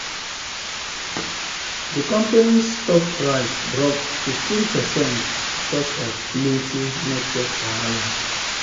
d company's stock price drop 15 percent because of plenty network wahala